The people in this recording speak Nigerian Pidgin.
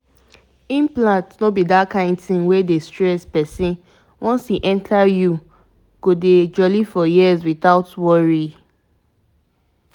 once dem fix implant for you e no dey stress you — e dey hide well but e dey protect steady you sabi na